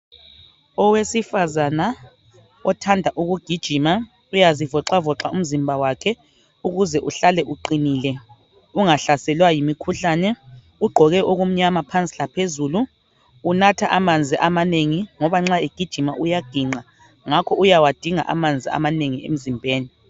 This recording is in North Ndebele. Owesifana othanda ukugijima uyazi voca voca umzimba wakhe ukuze uhlale uqinile ungahlaselwa yimikhuhlane ugqoke okumnyama phansi laphezulu unatha amanzi amanengi ngoba nxa egijima uyaginqa ngakho uyawadinga amanzi amanengi emzimbeni